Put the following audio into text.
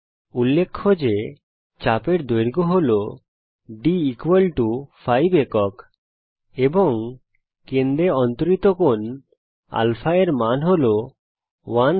উল্লেখ্য যে চাপ এর দৈর্ঘ্য হল d 5 একক এবং কেন্দ্রে অন্তরিত কোণ α র মান হল 1 Rad